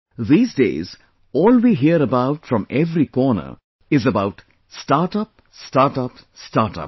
These days, all we hear about from every corner is about Startup, Startup, Startup